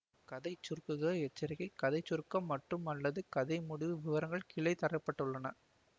கதைச்சுருக்குக எச்சரிக்கை கதை சுருக்கம் மற்றும்அல்லது கதை முடிவு விவரங்கள் கீழே தர பட்டுள்ளன